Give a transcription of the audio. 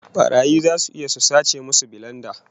Barayi zasu iya su sace musu bilenda